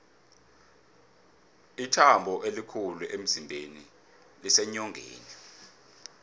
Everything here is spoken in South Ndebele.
ithambo elikhulu emzimbeni liseenyongeni